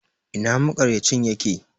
Ina maƙarya cin yake?